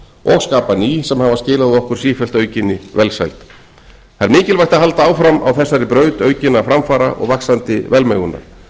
og skapa ný sem hafa skilað okkur sífellt aukinni velsæld það er mikilvægt að halda áfram á þessari braut aukinna framfara og vaxandi velmegunar